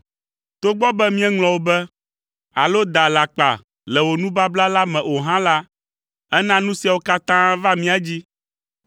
Togbɔ be míeŋlɔ wò be, alo da alakpa le wò nubabla la me o hã la, èna nu siawo katã va mía dzi.